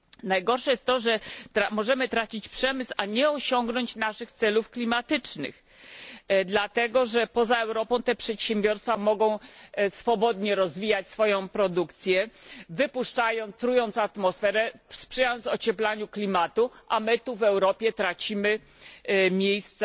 Najgorsze jest to, że możemy tracić przemysł, a nie osiągnąć naszych celów klimatycznych, dlatego że poza Europą te przedsiębiorstwa mogą swobodnie rozwijać swoją produkcję, trując atmosferę, sprzyjając ocieplaniu klimatu, a my tu w Europie tracimy miejsca